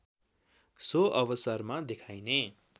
so अवसरमा देखाइने